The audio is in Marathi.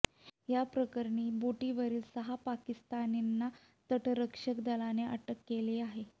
या प्रकरणी बोटीवरील सहा पाकिस्तानींना तटरक्षक दलाने अटक केली आहे